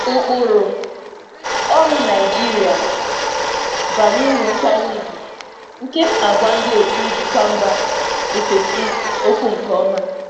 Ụkpụrụ ọrụ Naịjirịa na-eji nkwanye ùgwù kpọrọ ihe, nke m na-ekwupụta nke ọma nye ndị otu njikwa si mba ọzọ.